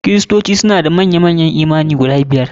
Kristoci suna da manya manyan yi imani guda biyar.